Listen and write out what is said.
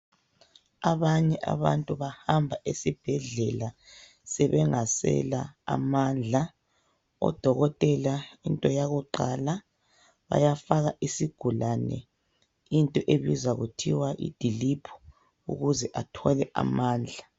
Abanye abantu bahamba esibhedlela sebengasela amandla. Odokotela into yakuqala bayafaka isigulane into ebizwa kuthiwa idiliphu ukuze bathole amandla.